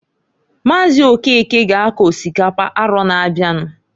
Maazị Okeke ga ako osikapa arọ na-abịanụ.